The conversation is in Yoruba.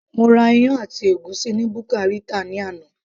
mo ra iyán àti ègúsí ni buka Rita ni àná